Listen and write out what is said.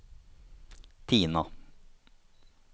Tina